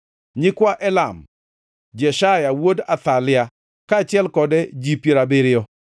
nyikwa Elam, Jeshaya wuod Athalia, kaachiel kode ji piero abiriyo;